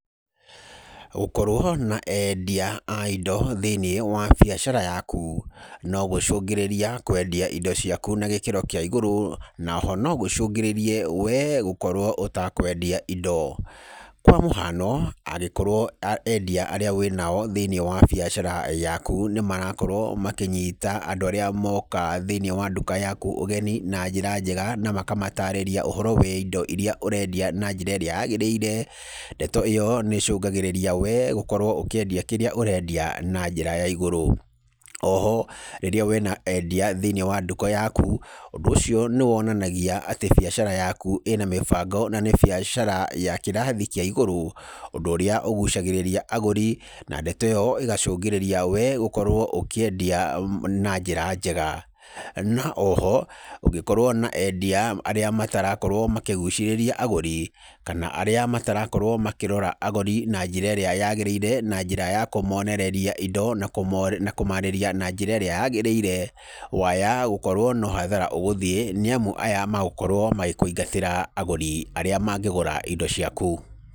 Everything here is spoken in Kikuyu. Gũkorwo na endia a indo thĩinĩ wa biacara yaku no gũcũngĩrĩrie kwendia indo ciaku na gĩkĩro kíĩ igũrũ na o ho no gũcũngĩrĩrie we gũkorwo ũtakwendia indo. Kwa mũhano, angĩkorwo endia arĩa wĩ nao thĩini wa biacara yaku nĩ marakorwo makĩnyita andũ arĩa moka thĩini wa nduka yaku ũgeni na njĩra njega na makamatarĩria ũhoro wa indo iria ũrendia na njĩra ĩrĩa yagĩrĩire, ndeto ĩyo nĩ ĩcũngagĩrĩria we gũkorwo ũkĩendia kĩrĩa ũrendia na njĩra ya igũrũ. O ho rĩrĩa wĩ na endia thĩinĩ wa nduka yaku, ũndũ ũcio nĩ wonanagia atĩ biacara yaku ĩ na mĩbango na nĩ biacara ya kĩrathi kĩa igũrũ, ũndũ ũrĩa ũgucagĩrĩria agũri, na ndeto ĩyo ĩgacũngĩrĩria we gũkorwo ũkĩendia na njĩra njega. Na o ho ũngĩkorwo na endia arĩa matarakorwo makĩgucĩrĩria agũri kana arĩa matarakorwo makĩrora agũri na njĩra ĩrĩa yagĩrĩire na njĩra ya kũmonereria indo na kũmaarĩria na njĩra ĩrĩa yaagĩrĩire, waya gũkorwo no hathara nĩamu aya magũkorwo magĩkũingatĩra agũri arĩa mangĩgũra indo ciaku.